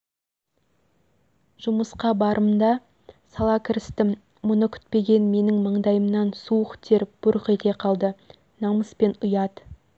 жұмысқа барымда сала кірістім мұны күтпеген менің маңдайымнан суық тер бұрқ ете қалды намыс пен ұят